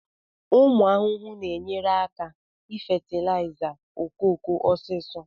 ụmụ ahụhụ na-enyere aka ifatilaiza okooko osisi